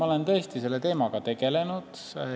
Ma olen tõesti selle teemaga tegelenud.